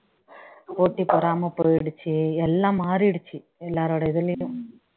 போட்டி பொறாமை போயிடுச்சு எல்லாம் மாறிடுச்சு எல்லாரோட இதுலயும்